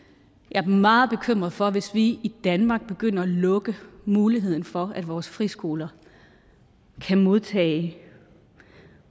er meget bekymret for hvis vi i danmark begynder at lukke muligheden for at vores friskoler kan modtage